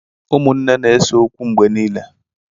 Ụmụnne na-ese okwu mgbe niile.